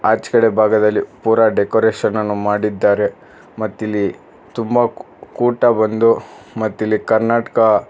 ಆಚ್ಗಡೆ ಭಾಗದಲ್ಲಿ ಪೂರ ಡೆಕೋರೇಷನ್ ಅನ್ನು ಮಾಡಿದ್ದಾರೆ ಮತ್ತಿಲ್ಲಿ ತುಂಬಾ ಕೂಟ ಬಂದು ಮತ್ತಿಲ್ಲಿ ಕರ್ನಾಟಕ--